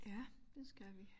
Ja det skal vi